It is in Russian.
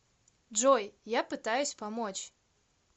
джой я пытаюсь помочь